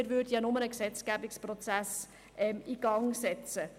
Wir würden ja nur einen Gesetzgebungsprozess in Gang setzen.